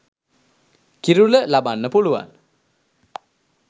කිරුළ ලබන්න පුළුවන්